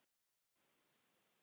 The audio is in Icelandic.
Nema síður sé.